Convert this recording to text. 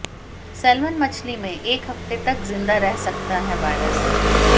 salmon मछली में एक हफ्ते तक जिंदा रह सकता है वायरस